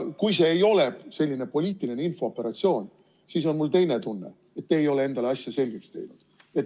Kui see ei ole poliitiline infooperatsioon, siis on mul teine tunne: te ei ole endale asja selgeks teinud.